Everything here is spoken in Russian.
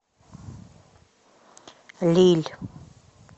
лилль